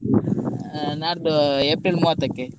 ಆ ನಾಡ್ದು April ಮೂವತ್ತಕ್ಕೆ .